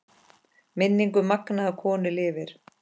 Minning um magnaða konu lifir.